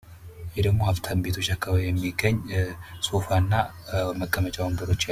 ይህ ደግሞ ሀብታም ቤቶች አካባቢ የሚገኝ ሶፋና መቀመጫ ወንበሮች